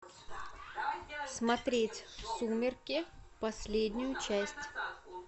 смотреть сумерки последнюю часть